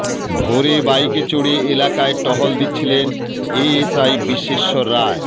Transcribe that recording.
ভোরে বাইকে চড়ে এলাকায় টহল দিচ্ছিলেন এএসআই বিশ্বেশ্বর রায়